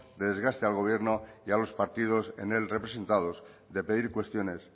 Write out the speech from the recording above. de desgaste al gobierno y a los partidos en él representados de pedir cuestiones